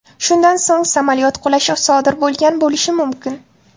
Shundan so‘ng, samolyot qulashi sodir bo‘lgan bo‘lishi mumkin.